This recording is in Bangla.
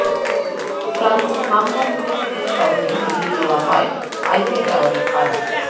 ফ্রান্সে হামলা ঃ নিহতদের স্মরণে নিভিয়ে দেওয়া হয় আইফেল টাওয়ারের আলো